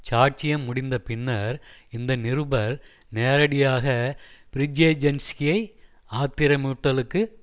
சாட்சியம் முடிந்த பின்னர் இந்த நிருபர் நேரடியாக பிரிஜேஜென்ஸ்கியை ஆத்திரமூட்டலுக்கு